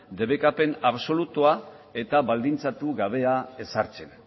debekapen absolutua eta baldintzatu gabea ezartzen